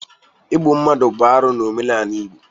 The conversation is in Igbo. Igbu mmadụ bụ arụ n'omenala Igbo.